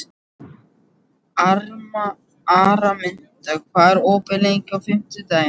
Araminta, hvað er opið lengi á fimmtudaginn?